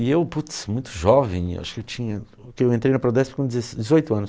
E eu, putz, muito jovem, acho que eu tinha... Porque eu entrei na Prodesp com dezes dezoito anos.